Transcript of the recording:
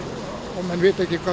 og menn vita ekki hvað